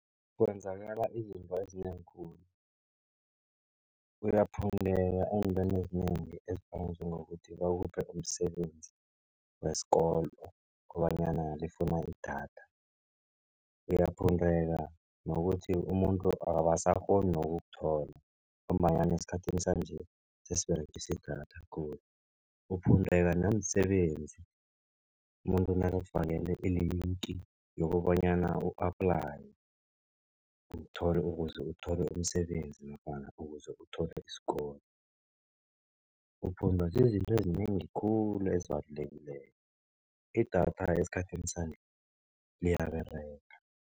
Kwenzakala izinto ezinengi khulu, uyaphundeka entweni ezinengi ezifana njengokuthi bakuphe umsebenzi wesikolo kobanyana lifuna idatha. Uyaphundeka nokuthi umuntu abasakghoni nokukuthola ngombanyana esikhathini sanje sesiberegisa idatha khulu. Uphundeka namsebenzi, umuntu nakakufakele ilinki yokobanyana u-aplayele uthole ukuze uthole umsebenzi nofana ukuze uthole isikolo. Uphundwa zizinto ezinengi khulu ezibalulekileko. Idatha esikhathini sanje liyaberega.